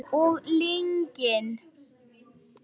Og lygin.